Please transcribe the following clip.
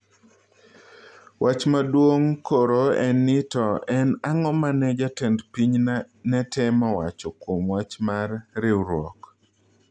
Wach maduong koro en ni to en ang'o mane jatend piny netemo wacho kuom wach mar "riuruok"